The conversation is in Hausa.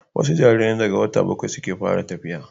wasu jaririn daga wata bakwai suke fara tafiya